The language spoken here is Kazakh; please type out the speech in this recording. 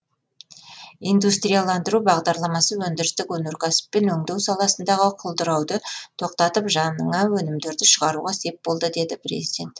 индустрияландыру бағдарламасы өндірістік өнеркәсіп пен өңдеу саласындағы құлдырауды тоқтатып жаңа өнімдерді шығаруға сеп болды деді президент